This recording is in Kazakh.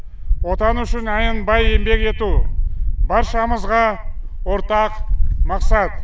отан үшін аянбай еңбек ету баршамызға ортақ мақсат